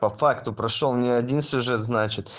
по факту прошёл не один сюжет значит